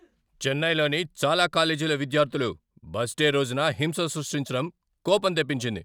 చెన్నైలోని చాలా కాలేజీల విద్యార్థులు బస్ డే రోజున హింస సృష్టించటం కోపం తెప్పించింది.